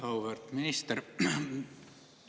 Auväärt minister!